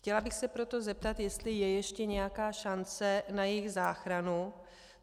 Chtěla bych se proto zeptat, jestli je ještě nějaká šance na jejich záchranu.